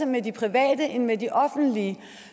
med de private end med de offentlige